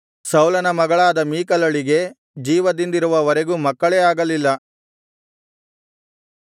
ಸೌಲನ ಮಗಳಾದ ಮೀಕಲಳಿಗೆ ಜೀವದಿಂದಿರುವ ವರೆಗೂ ಮಕ್ಕಳೇ ಆಗಲಿಲ್ಲ